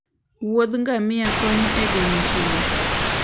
Wuoth ngamia konyo e geng'o chilo.